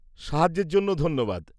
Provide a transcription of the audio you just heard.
-সাহায্যের জন্য ধন্যবাদ।